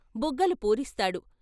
బుగ్గలు పూరిస్తాడు.